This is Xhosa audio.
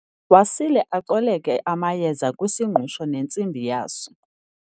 wasile acoleke amayeza kwisingqusho nentsimbi yaso